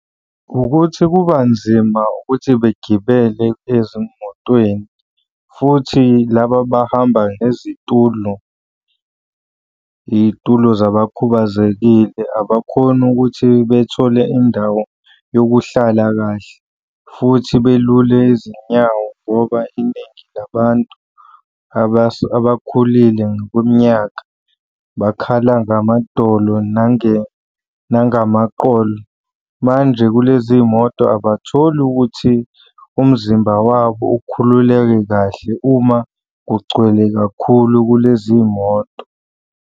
Ukuthi kuba nzima ukuthi begibele ezimotweni futhi laba abahamba nezitulo, iy'tulo zabakhubazekile, abakhoni ukuthi bethole indawo yokuhlala kahle futhi belule izinyawo ngoba iningi labantu abakhulile ngokweminyaka bakhala ngamadolo nangamaqolo. Manje kulezi moto abatholi ukuthi umzimba wabo ukhululeke kahle uma kugcwele kakhulu kulezi moto.